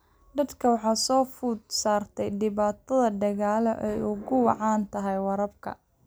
Dadka waxaa soo food saartay dhibaato dhaqaale oo ay ugu wacan tahay waraabka.